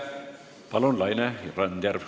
Palun, Laine Randjärv!